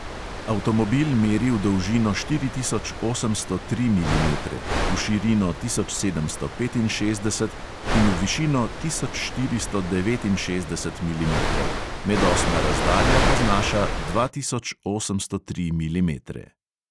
Avtomobil meri v dolžino štiri tisoč osemsto tri milimetre, v širino tisoč sedemsto petinšestdeset in v višino tisoč štiristo devetinšestdeset milimetrov, medosna razdalja pa znaša dva tisoč osemsto tri milimetre.